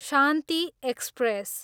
Shanti express